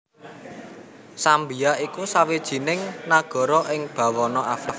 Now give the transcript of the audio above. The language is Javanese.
Zambia iku sawijining nagara ing bawana Afrika